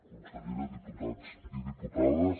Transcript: consellera diputats i diputades